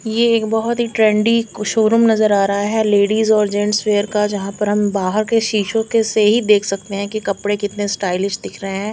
ये एक बहुत ही ट्रेंडी शू रूम नजर आ रहा हैं लेडीज और गेंट्स वियर का जहाँ पर हम बाहर के शीशो के से ही देख सकते हैं कि कपड़े कितने स्टाइल्स दिख रहे हैं।